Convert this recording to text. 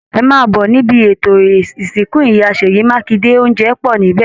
Ẹ máà bọ̀ níbi ètò ìsìnkú ìyá Sèyí Mákinde, òunjẹ pọ̀ níbẹ̀!